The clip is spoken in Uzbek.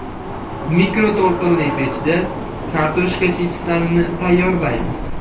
Mikroto‘lqinli pechda kartoshka chipslarini tayyorlaymiz.